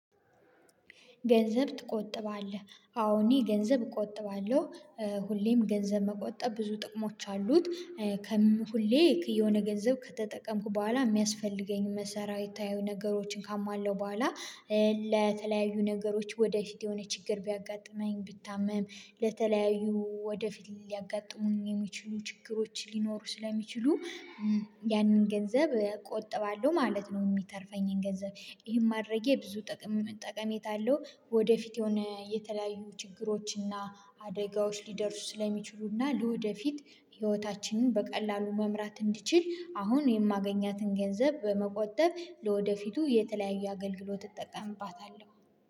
ገንዘብ ትቆጥባለህ? አዎ እኔ ገንዘብ እቆጥባለሁ። ሁሌም ገንዘብ መቆጠብ ብዙ ጥቅሞች አሉት። ሁሌ የሆነ ገንዘብ ከተጠቀምኩ በኋላ የሚያስፈልገኝ መሰረታዊ የሆኑ ነገሮችን ካሟላው በኋላ። ለተለያዩ ነገሮች ወደ ፊት የሆነ ችግር ቢያጋጥመኝ ብታመም ለተለያዩ ወደፊት ሊያጋጥሙኝ የሚችሉ ችግሮች ሊኖሩ ስለሚችሉ ያንን ገንዘብ ቆጥባለሁ ማለት ነው። የሚተርፈኝን ገንዘብ ይሄን ማድረጌ ብዙ ጠቀሜታ አለው። ወደ ፊት የሆነ የተለያዩ ችግሮችና አደጋዎች ሊደርሱ ስለሚችሉና ለወደፊት ህይወታችንን በቀላሉ መምራት እንድችል አሁን የማገኛትን ገንዘብ በመቆጠብ ለወደፊቱ የተለያየ አገልግሎት እጠቀምባታለሁ